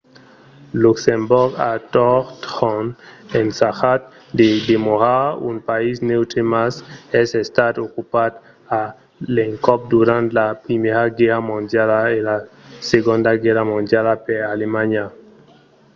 luxemborg a totjorn ensajat de demorar un país neutre mas es estat ocupat a l'encòp durant la primièra guèrra mondiala e la segonda guèrra mondiala per alemanha